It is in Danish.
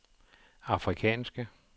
afrikanske